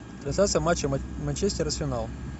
трансляция матча манчестер арсенал